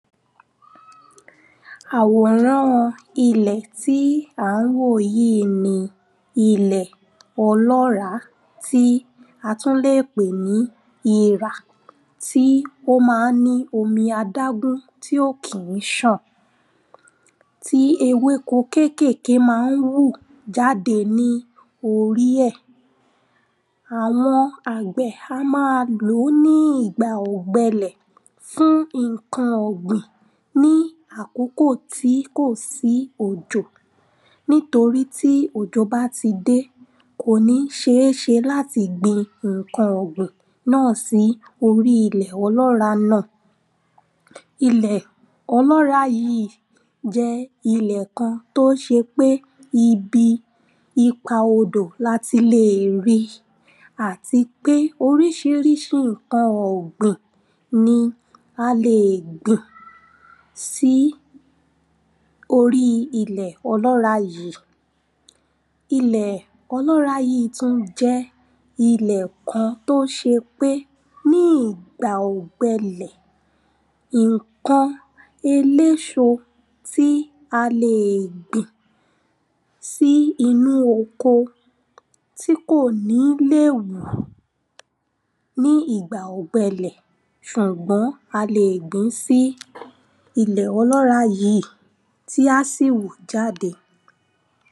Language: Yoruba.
àwòrán ilẹ̀ tí a ń wò yìí ni ilẹ̀ ọlọ́ràá tí a tún lè pè ní irà tí ó ma ń ní omi adágún tí ó kì í ṣàn. tí ewéko kékèkè ma ń wù jáde ní orí ẹ̀. àwọn àgbẹ̀ a máa lòó ní ìgbà ògbẹlẹ̀ fún ǹkan ọ̀gbìn ní àkókò tí kò sí òjò nítorí tí òjò bá ti dé, kò ní ṣeeṣe láti gbin ǹkan ọ̀gbìn náà sí orí ilẹ̀ ọlọ́ràá náà. Ilẹ̀ ọlọ́ràá yìí jẹ́ ilẹ̀ kan tó ṣe pé ibi ipa odò la ti lè rí i àti pé oríṣiríṣi ǹkan ọ̀gbìn ni a lè gbìn sí orí ilẹ̀ ọlọ́ràá yìí. Ilẹ̀ ọlọ́ràá yìí tún jẹ́ ilẹ̀ kan tó ṣe pé, ní ìgbà ògbẹ ilẹ̀ ǹkan eléso tí a lè gbìn sí inú oko tí kò ní lè wù ní ìgbà ògbẹ ilẹ̀ ṣùgbọ́n a lè gbìn ín sí ilẹ̀ ọlọ́ràá yìí tí a sì wù jáde.